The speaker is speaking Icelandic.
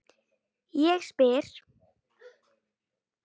Ég spyr?